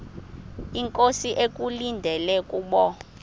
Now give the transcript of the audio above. inkosi ekulindele kubo